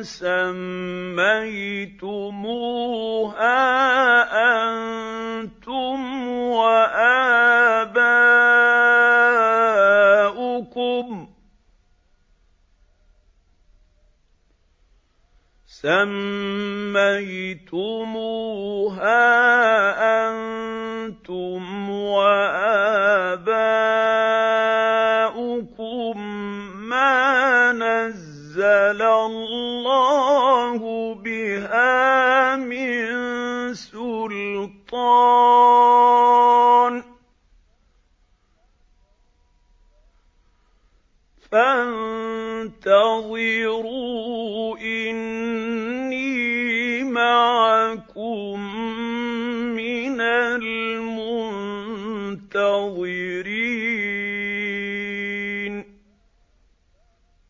سَمَّيْتُمُوهَا أَنتُمْ وَآبَاؤُكُم مَّا نَزَّلَ اللَّهُ بِهَا مِن سُلْطَانٍ ۚ فَانتَظِرُوا إِنِّي مَعَكُم مِّنَ الْمُنتَظِرِينَ